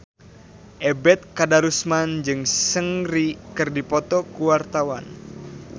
Ebet Kadarusman jeung Seungri keur dipoto ku wartawan